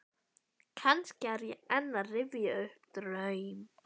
Kannski er ég enn að rifja upp draum.